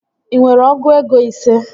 Ị nwere ọgụ ego ise?